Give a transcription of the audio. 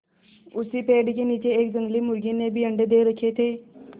उसी पेड़ के नीचे एक जंगली मुर्गी ने भी अंडे दे रखें थे